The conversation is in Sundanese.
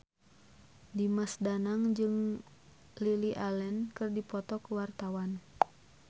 Dimas Danang jeung Lily Allen keur dipoto ku wartawan